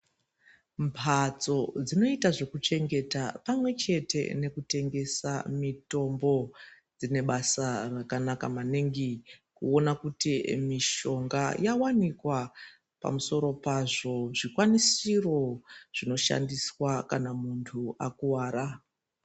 Mbatso dzinoita zvekuchengeta pamwechete nekutengesa mitombo dzinebasa rakanaka maningi kuona kuti mishonga yawanikwa, pamosoro pazvo, zvikwanisiro zvinoshandiswa kana muntu akuvara.